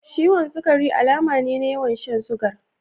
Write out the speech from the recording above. Ciwon sukari alamu ne na yawan shan sugar.